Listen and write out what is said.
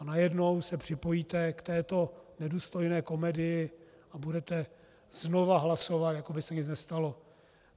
A najednou se připojíte k této nedůstojné komedii a budete znovu hlasovat, jako by se nic nestalo.